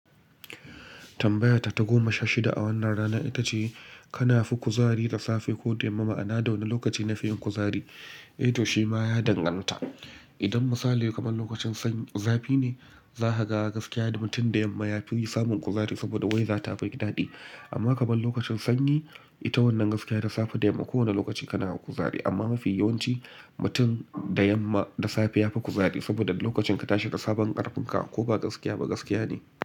Tambayata ta goma sha shida a wannan rana ita ce, kana fi kuzari da safe ko da yamma? Ma'ana da wane lokaci na fi yin kuzari? Eh to shi ma ya danganta. Idon misali kamar lokacin zafi ne, za ka ga gaskiya da mutum da yamma ya fi yi samun kuzari saboda weather tafi daɗi. Amma kamar lokacin sanyi, ita wannan gaskiya da safe da yamma, kowane lokaci kana da kuzari amma mafi yawanci mutum da yamma da safe ya fi kuzari saboda lokacin ka tashi da sabon ƙarfin ka ko ba gaskiya ba gaskiya ne.